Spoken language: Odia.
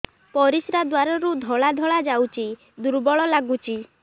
ପରିଶ୍ରା ଦ୍ୱାର ରୁ ଧଳା ଧଳା ଯାଉଚି ଦୁର୍ବଳ ଲାଗୁଚି